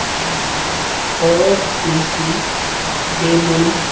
और कुर्सी टेबल।